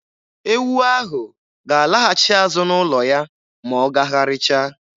Ewu ahụ ga-alaghachi n'ụlọ ya ma ọ gagharịchaa.